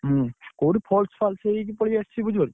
ହୁଁ, କୋଉଠି false ଫ୍ଲାସ ହେଇକି ପଳେଇଆସିଛି ବୁଝିପାରୁଛ।